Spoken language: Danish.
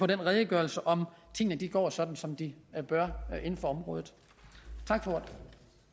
den redegørelse om tingene går sådan som de bør inden for området